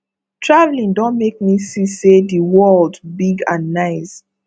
traveling don make me see say the world big and nice